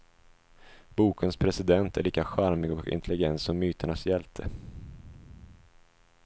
Bokens president är lika charmig och intelligent som myternas hjälte.